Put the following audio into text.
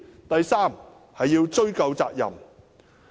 第三，要追究責任。